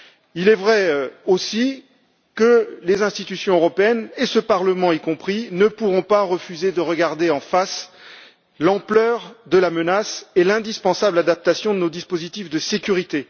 Il est aussi vrai que les institutions européennes, ce Parlement y compris, ne pourront pas refuser de regarder en face l'ampleur de la menace et l'indispensable adaptation de nos dispositifs de sécurité.